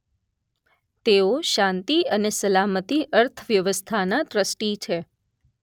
તેઓ શાંતિ અને સલામતી અર્થવ્યવસ્થાના ટ્રસ્ટી છે